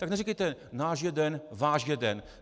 Tak neříkejte náš jeden, váš jeden.